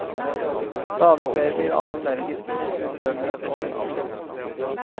Stadig flere blir allergiske mot husstøvmidd og nikkel.